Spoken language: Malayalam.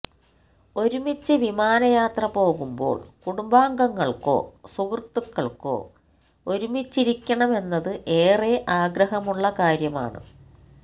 ഒരുമിച്ച് വിമാനയാത്ര പോകുമ്പോള് കുടുംബാംഗങ്ങള്ക്കോ സുഹൃത്തുക്കള്ക്കോ ഒരുമിച്ചിരിക്കണമെന്നത് ഏറെ ആഗ്രഹമുള്ള കാര്യമാണ്